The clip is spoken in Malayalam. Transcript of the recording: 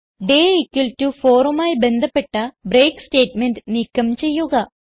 ഡേ 4മായി ബന്ധപ്പെട്ട ബ്രേക്ക് സ്റ്റേറ്റ്മെന്റ് നീക്കം ചെയ്യുക